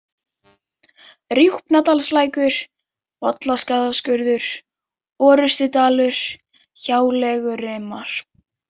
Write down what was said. Rjúpnadalslækur, Bollastaðaskurður, Orustudalur, Hjáleigurimar